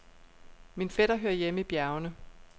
Min fætter hører hjemme i bjergene.